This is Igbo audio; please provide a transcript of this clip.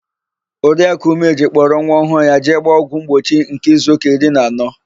Oriakụ Umeji kpọrọ nwa ọhụụ ya jee gbaa ọgwụ mgbochi nke izuụka iri na anọ.